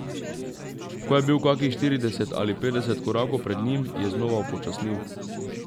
Ko je bil kakih štirideset ali petdeset korakov pred njim, je znova upočasnil.